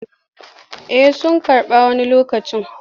Eh suna karɓa wani lokacin.